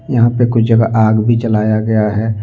यहां पे कुछ जगह आग भी जलाया गया है।